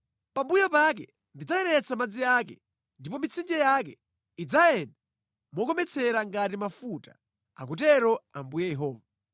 Pambuyo pake ndidzayeretsa madzi ake ndipo mitsinje yake idzayenda mokometsera ngati mafuta, akutero Ambuye Yehova.